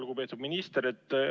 Lugupeetud minister!